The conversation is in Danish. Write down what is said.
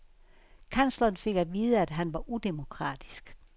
Kansleren fik at vide, at han var udemokratisk.